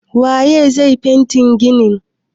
Wa ye zai fente ginin?